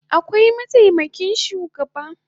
Akwai mataimakin shugaba